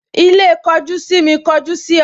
Ilé kojú sími kọjú sí ọ